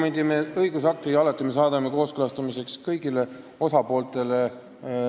Niisuguse õigusakti me saadame alati kooskõlastamiseks kõigile osapooltele.